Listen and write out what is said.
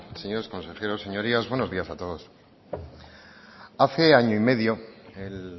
señores consejeros señorías buenos días a todos hace año y medio el